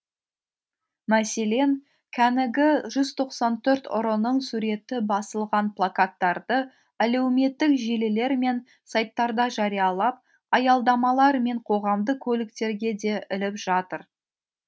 мәселен кәнігі жүз тоқсан төрт ұрының суреті басылған плакаттарды әлеуметтік желілер мен сайттарда жариялап аялдамалар мен қоғамдық көліктерге де іліп жатыр